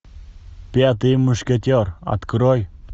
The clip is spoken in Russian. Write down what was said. пятый мушкетер открой